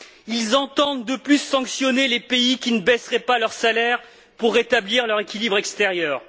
Ils entendent, de plus, sanctionner les pays qui ne baisseraient pas leurs salaires pour rétablir leur équilibre extérieur.